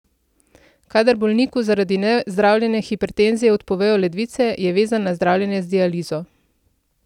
Kadar bolniku zaradi nezdravljene hipertenzije odpovejo ledvice, je vezan na zdravljenje z dializo.